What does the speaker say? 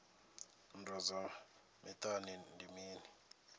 nndwa dza miṱani ndi mini